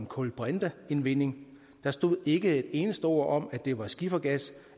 kulbrinteindvinding der stod ikke et eneste ord om at det var skifergas